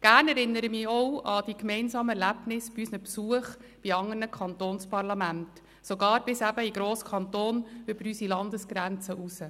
Gerne erinnere ich mich auch an die gemeinsamen Erlebnisse bei unseren Besuchen in andern Kantonsparlamenten – sogar, wie es zu hören war, bis in den «grossen Kanton» über unsere Landesgrenzen hinaus.